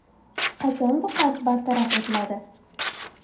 Qachon bu qarz bartaraf etiladi?